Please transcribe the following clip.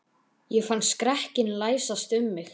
Ég fann skrekkinn læsast um mig.